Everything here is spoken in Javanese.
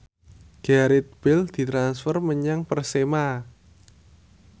Gareth Bale ditransfer menyang Persema